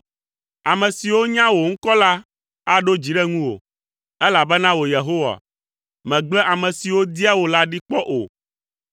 Ame siwo nya wò ŋkɔ la aɖo dzi ɖe ŋuwò, elabena wò Yehowa, megble ame siwo dia wò la ɖi kpɔ o.